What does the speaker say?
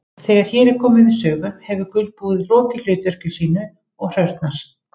Þegar hér er komið sögu hefur gulbúið lokið hlutverki sínu og hrörnar.